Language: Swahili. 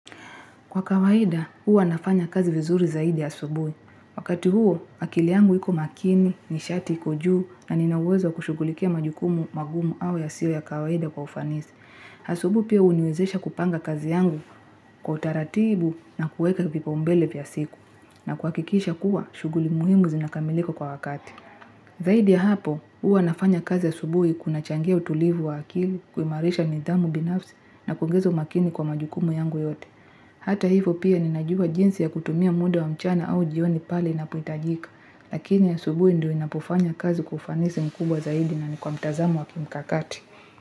Kwa kawaida, huwa nafanya kazi vizuri zaidi ya asubuhi. Wakati huo, akili yangu iko makini, nishati, iko juu, na ninaweza kushughulikia majukumu magumu au yasiyo ya kawaida kwa ufanisi. Asubuhi pia huniwezesha kupanga kazi yangu kwa utaratibu na kuweka vipaumbele vya a siku. Na kwa kuhakikiisha kuwa, shughuli muhimu zinakamilika kwa wakati. Zaidi ya hapo, huwa nafanya kazi ya asubuhi bui kunachangia utulivu wa akili, kuimarisha nidhamu binafsi na kuingiza umakini kwa majukumu yangu yote. Hata hivo pia ninajua jinsi ya kutumia muda wa mchana au jioni pale inapotajika, lakini asubuhi ndio inapofanya kazi kwa ufanisi mkubwa zaidi na ni kwa mtazamo wa kimkakati.